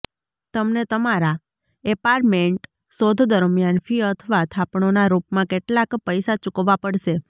તમને તમારા ઍપાર્ટમેન્ટ શોધ દરમિયાન ફી અથવા થાપણોનાં રૂપમાં કેટલાક પૈસા ચૂકવવા પડશે